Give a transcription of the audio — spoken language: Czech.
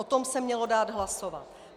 O tom se mělo dát hlasovat.